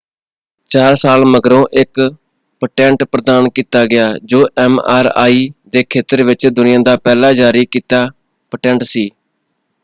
ਚਾਰ ਸਾਲ ਮਗਰੋਂ ਇੱਕ ਪੇਟੈਂਟ ਪ੍ਰਦਾਨ ਕੀਤਾ ਗਿਆ ਜੋ ਐਮ.ਆਰ.ਆਈ. ਦੇ ਖੇਤਰ ਵਿੱਚ ਦੁਨੀਆ ਦਾ ਪਹਿਲਾ ਜਾਰੀ ਕੀਤਾ ਪੇਟੈਂਟ ਸੀ।